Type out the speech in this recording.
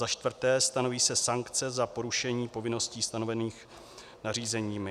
za čtvrté - stanoví se sankce za porušení povinností stanovených nařízeními.